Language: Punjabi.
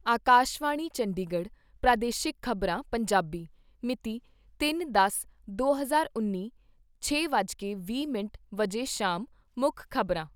ਆਕਾਸ਼ਵਾਣੀ ਚੰਡੀਗੜ੍ਹ ਪ੍ਰਾਦੇਸ਼ਿਕ ਖ਼ਬਰਾਂ , ਪੰਜਾਬੀ ਮਿਤੀ ਤਿੰਨ ਦਸ ਦੋ ਹਜ਼ਾਰ ਉੱਨੀ, ਛੇ ਵੱਜ ਕੇ ਵੀਹ ਮਿੰਟ ਸ਼ਾਮ ਮੁੱਖ ਖ਼ਬਰਾਂ